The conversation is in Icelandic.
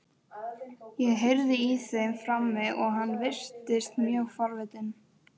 Ég heyrði í þeim frammi og hann virtist mjög forvitinn.